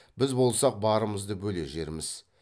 біз болсақ барымызды бөле жерміз